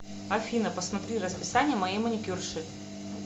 афина посмотри расписание моей маникюрши